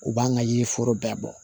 U b'an ka yiri foro bɛɛ bɔ